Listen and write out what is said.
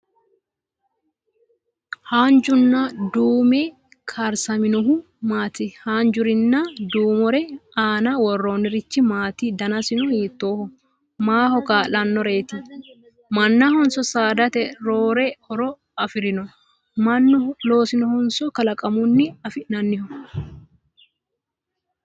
Haanjunna duumu karsaminohu maati? Haanjarenna duumore aana worroonnirichi maati danasino hiittooho? Maaho kaa'lannoreeti? Mannahonso saadate roore horo afirino? Mannu loosinohonso kalaqammunni afi'nanniho?